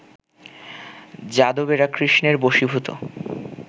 যাদবেরা কৃষ্ণের বশীভূত